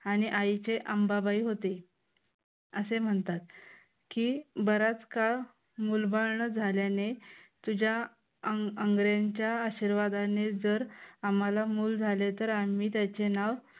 आणि आईचे अंबाबाई होते. असे म्हणतात की, बराच काळ मुलबाड न झाल्याने तुझ्या आंगऱ्यांच्या आशीर्वादाने जर आम्हाला मूल झाले तर आम्ही त्याचे नाव